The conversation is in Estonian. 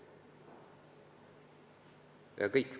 See on kõik.